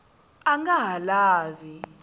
a a nga ha lavi